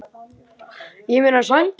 Mér líður mjög vel.